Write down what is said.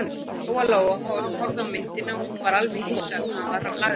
Lóa-Lóa horfði á myndina og hún var alveg hissa hvað hann var laglegur.